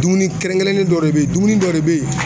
Dumuni kɛrɛnkɛrɛnnen dɔ de bɛ ye dumuni dɔ de bɛ ye